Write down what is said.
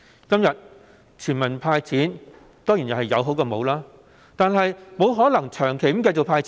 今天，全民"派錢"當然是有比沒有的好，但"派錢"不可能長期持續。